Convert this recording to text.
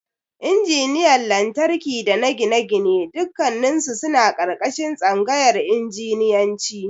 Injiniyan Lantarki dana Gine-gine dukkannisu suna ƙarƙashin Tsangayar Injiniyanci.